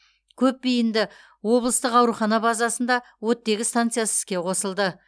көпбейінді облыстық аурухана базасында оттегі станциясы іске қосылды